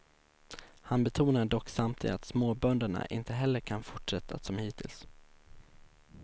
Han betonar dock samtidigt att småbönderna inte heller kan fortsätta som hittills.